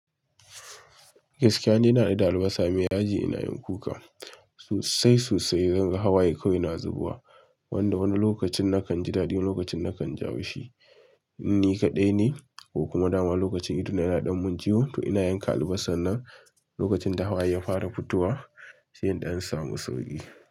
Gaskiya in ina da albasa mai yaji ina yin kuka. Sosai sosai zan ga hawaye kawai na zubawa wanda wani lokacin na kan ji dadi wani lokacin na kan jaushi. Inni kaɗai ne ko kuma dama lokacin ido na yana ɗan mun ciwo to ina yanka albasar nan lokacin ta hawaye ya fara fitowa sa in ɗan samu sauƙi.